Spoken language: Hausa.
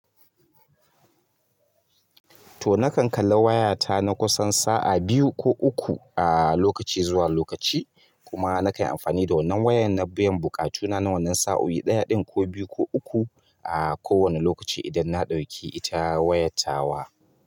To na kan kala wayata na kusan sa'a biyu ko uku a lokaci zuwa lokaci kuma na kan yi amfani da wannan wayan na biyan buƙatuna na wannan sa'o'i ɗaya ɗin ko biyu ko uku a kowane lokaci idan na ɗauki ita wayata wa.